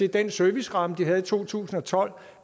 den serviceramme de havde i to tusind og tolv